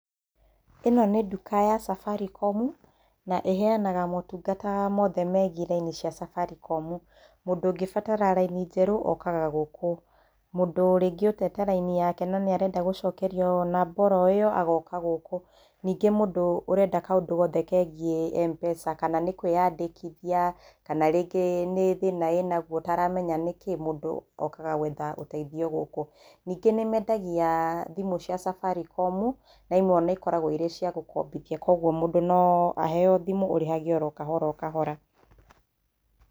ĩno nĩ nduka ya Safaricom na ĩheanaga motungata mothe megiĩ raini cia Safaricom, mũndu ũngĩbatara raini njerũ okaga gũkũ, mũndu rĩngĩ ũtete raini yake na nĩarenda gũcokerio namba oro ĩyo, agooka gũkũ, ningĩ mũndũ ũrenda kaũndu gothe kegiĩ M-pesa kana nĩkwĩyandĩkithia, kana rĩngĩ, nĩ thĩna ĩnagwo ũtaramenya nĩkĩ mũndũ okaga gwetha ũteithio gũkũ ningĩ nĩmendagia, thimũ cia Safaricom, na imwe na ikoragwo cirĩ cia gũkobithia kwoguo mũndo no aheo thimu urĩhage o kahora kahora.